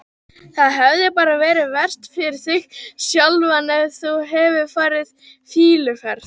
Það hefði bara verið verst fyrir þig sjálfan ef þú hefðir farið fýluferð.